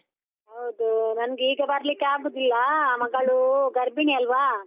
ಹೌದೂ, ನಂಗೆ ಈಗ ಬರ್ಲಿಕ್ಕೆ ಆಗುದಿಲ್ಲಾ, ಮಗಳೂ ಗರ್ಭಿಣಿ ಅಲ್ವಾ.